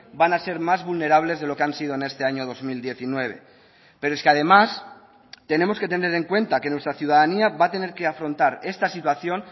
van a ser más vulnerables de lo que han sido en este año dos mil diecinueve pero es que además tenemos que tener en cuenta que nuestra ciudadanía va a tener que afrontar esta situación